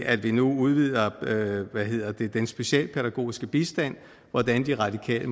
at vi nu udvider den specialpædagogiske bistand hvordan de radikale